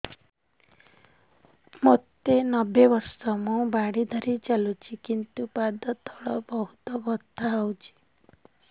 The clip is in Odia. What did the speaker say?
ମୋତେ ନବେ ବର୍ଷ ମୁ ବାଡ଼ି ଧରି ଚାଲୁଚି କିନ୍ତୁ ପାଦ ତଳ ବହୁତ ବଥା ହଉଛି